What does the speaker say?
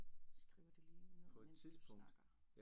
Skriver det lige ned mens du snakker